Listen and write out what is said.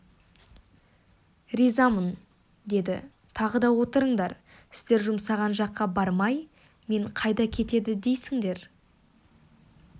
ризамын деді тағы да отырыңдар сіздер жұмсаған жаққа бармай мен қайда кетеді дейсіңдер